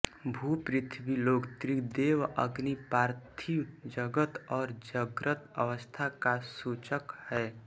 भू पृथ्वीलोक ऋग्वेद अग्नि पार्थिव जगत् और जाग्रत् अवस्था का सूचक है